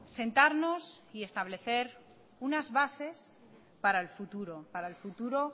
sentarnos y establecer unas bases para el futuro para el futuro